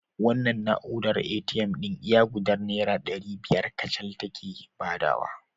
Wannan na'urar ATM ɗin iya gudar Naira ɗari biyar kacal take badawa